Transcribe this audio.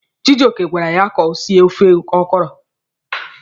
Chijioke gwara ya ka o sie ofe ọkọrọ.